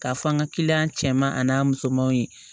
K'a fɔ an ka kiliyan cɛman ani musomanw ye